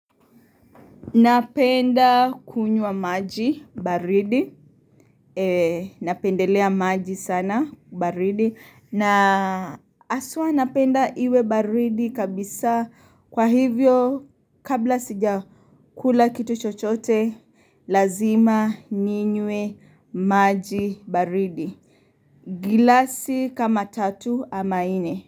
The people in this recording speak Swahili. Napenda kunywa maji baridi. Napendelea maji sana baridi. Na aswa napenda iwe baridi kabisa kwa hivyo kabla sija kula kitu chochote lazima ninywe maji baridi. Gilasi kama tatu ama nne.